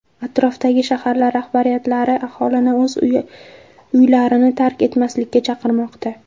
Atrofdagi shaharlar rahbariyatlari aholini o‘z uylarini tark etmaslikka chaqirmoqda.